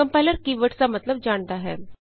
compiler key words ਦਾ ਮਤਲਬ ਜਾਣਦਾ ਹੈ